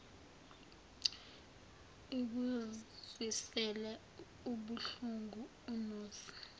ikuzwisile ubuhlungu unozi